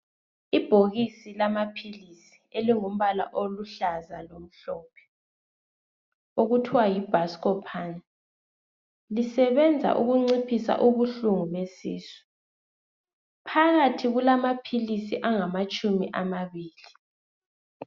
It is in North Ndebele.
Ibhokisi lamaphilisi elilombala oluhlaza tshoko, okuthwa yi buscopun. Lisebenza ukunciphisa ubuhlungu besisu. Phakathi kulamaphilis angamatshumi amabili